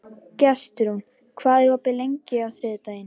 Gestrún, hvað er opið lengi á þriðjudaginn?